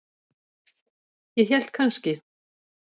Ég hélt kannski.